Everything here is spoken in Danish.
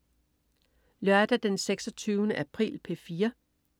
Lørdag den 26. april - P4: